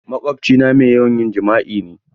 Maƙwabcina mai yawan yin jima'i ne.